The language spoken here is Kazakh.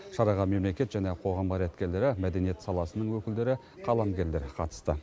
шараға мемлекет және қоғам қайраткерлері мәдениет саласының өкілдері қаламгерлер қатысты